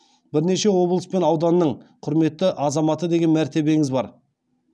бірнеше облыс пен ауданның құрметті азаматы деген мәртебеңіз бар